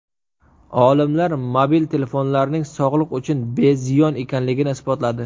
Olimlar mobil telefonlarning sog‘liq uchun beziyon ekanligini isbotladi.